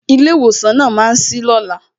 Ilé ìwòsàn náà ma sí lóla